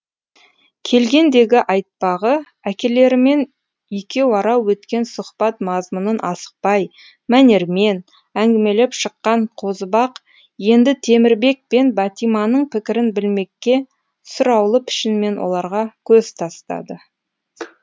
келгендегі айтпағы әкелерімен екеуара өткен сұхбат мазмұнын асықпай мәнермен әңгімелеп шыққан қозыбақ енді темірбек пен бәтиманың пікірін білмекке сұраулы пішінмен оларға көз тастады